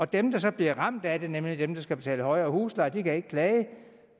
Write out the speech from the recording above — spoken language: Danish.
dem der så bliver ramt af det nemlig dem der skal betale højere husleje kan ikke klage